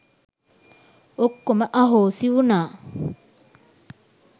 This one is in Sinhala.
ඔක්කොම අහෝසි වුනා.